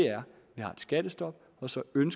skattestop som man